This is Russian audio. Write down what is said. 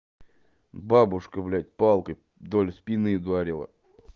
бабушка блять палкой вдоль спины ударила